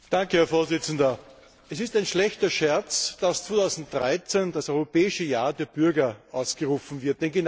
Herr Präsident! Es ist ein schlechter Scherz, dass 2013 als das Europäische Jahr der Bürger ausgerufen wird.